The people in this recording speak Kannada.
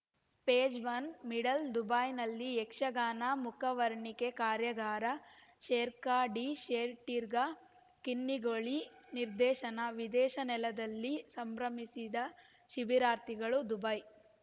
ಪೇಜ್‌ ಒನ್ ಮಿಡಲ್‌ ದುಬೈನಲ್ಲಿ ಯಕ್ಷಗಾನ ಮುಖವರ್ಣಿಕೆ ಕಾರ್ಯಾಗಾರ ಶೇಖರ್‌ ಡಿಶೆಟ್ಟಿಗಾರ್‌ ಕಿನ್ನಿಗೋಳಿ ನಿರ್ದೇಶನ ವಿದೇಶಿ ನೆಲದಲ್ಲಿ ಸಂಭ್ರಮಿಸಿದ ಶಿಬಿರಾರ್ಥಿಗಳು ದುಬೈ